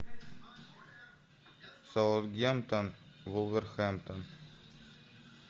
саутгемптон вулверхэмптон